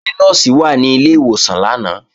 Ṣé Nọ́ọ̀sì wà ní ilé ìwòsàn lánàá?